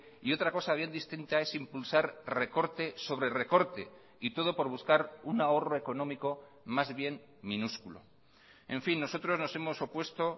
y otra cosa bien distinta es impulsar recorte sobre recorte y todo por buscar un ahorro económico más bien minúsculo en fin nosotros nos hemos opuesto